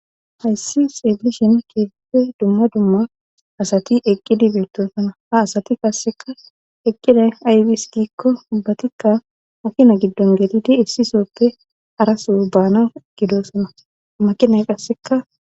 Hayssi seebishin keefipfe dumma dumma asati eqqidi beettosana ha asati kasseka eqqida aybis giikko ubbatikka makina giddon getidi issisooppe haraso baana gidosana makinay qasseka.